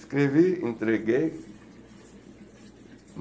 Escrevi, entreguei.